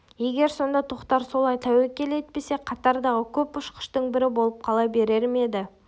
егер сонда тоқтар солай тәуекел етпесе қатардағы көп ұшқыштың бірі болып қала берер ме еді